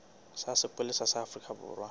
sa sepolesa sa afrika borwa